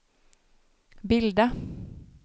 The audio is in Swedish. bilda